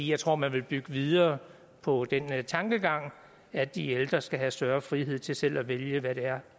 jeg tror man vil bygge videre på den tankegang at de ældre skal have større frihed til selv at vælge hvad det er